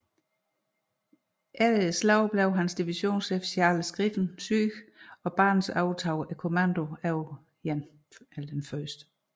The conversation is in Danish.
Efter slaget blev hans divisionschef Charles Griffin syg og Barnes overtog kommandoen over 1